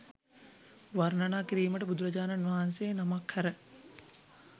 වර්ණනා කිරීමට බුදුරජාණන් වහන්සේ නමක් හැර